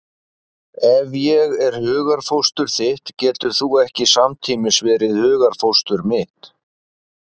Ef ég er hugarfóstur þitt getur þú ekki samtímis verið hugarfóstur mitt.